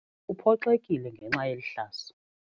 Uphoxekile ngenxa yeli hlazo.